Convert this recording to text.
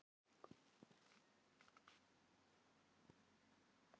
Auðvitað lá svarið í augum uppi.